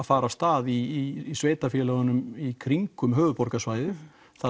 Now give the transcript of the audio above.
fara af stað í sveitarfélögunum í kringum höfuðborgarsvæðið